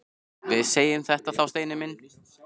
Við segjum þetta þá, Steini minn!